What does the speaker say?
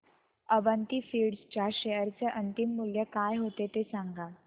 Avanti feeds च्या share चे अंतिम मूल्य काय होते ते सांगा